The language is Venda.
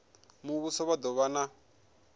muvhuso vha do vha na